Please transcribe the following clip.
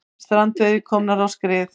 Strandveiðar komnar á skrið